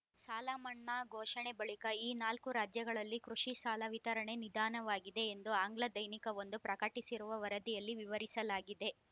ಸಾಲ ಮನ್ನಾ ಘೋಷಣೆ ಬಳಿಕ ಈ ನಾಲ್ಕೂ ರಾಜ್ಯಗಳಲ್ಲಿ ಕೃಷಿ ಸಾಲ ವಿತರಣೆ ನಿಧಾನವಾಗಿದೆ ಎಂದು ಆಂಗ್ಲದೈನಿಕವೊಂದು ಪ್ರಕಟಿಸಿರುವ ವರದಿಯಲ್ಲಿ ವಿವರಿಸಲಾಗಿದೆ